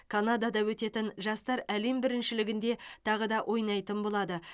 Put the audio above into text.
канадада өтетін жастар әлем біріншілігінде тағы да ойнайтын болады